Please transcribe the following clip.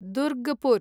Durgapur